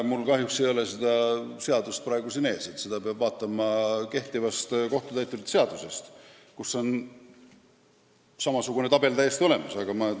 Mul kahjuks ei ole seda seadust siin ees, seda peab vaatama kehtivast kohtutäiturite seadusest, kus on samasugune tabel olemas.